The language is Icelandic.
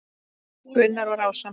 Gunnar var ásamt